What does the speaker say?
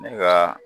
Ne ka